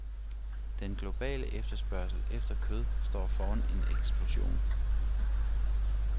Den globale efterspørgsel efter kød står foran en eksplosion.